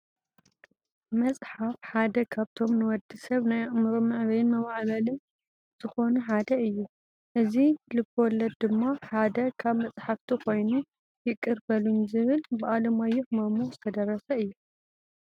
መፅሓፈ ሓደ ካብቶም ንወዲ ሰብ ናይ ኣእምሮ መዕበይን መማዕበልን ዝኮኑ ሓደ እዩ። እዚ ልብወለድ ድማ ሓደ ካብ መፅሓፍቲ ኮይኑ ይቅር በሉኝ ዝብል ብዓለማዮሁ ማሞ ዝተደረሰ እዩ።